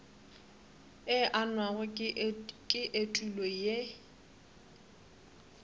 e angwago ke etulo ye